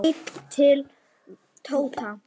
Hann leit til Tóta.